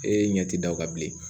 E ɲɛ ti da o kan bilen